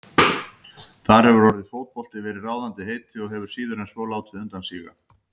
Þar hefur orðið fótbolti verið ráðandi heiti og hefur síður en svo látið undan síga.